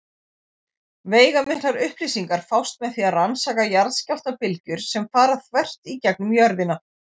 Veigamiklar upplýsingar fást með því að rannsaka jarðskjálftabylgjur sem fara þvert í gegnum jörðina.